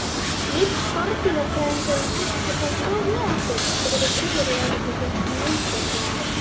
Vill skordýrafræðingurinn ekki fá far með okkur? spurði yfirlögregluþjónninn vingjarnlega.